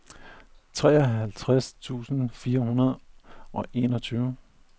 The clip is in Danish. treoghalvtreds tusind fire hundrede og enogtyve